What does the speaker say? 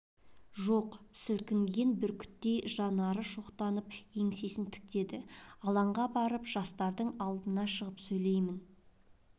жоқ сілкінген бүркіттей жанары шоқтанып еңсесін тіктеді алаңға барамын жастардың алдына шығып сөйлеймін